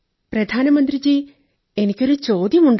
പ്രധാനമന്ത്രീജീ എനിക്കൊരു ചോദ്യമുണ്ട്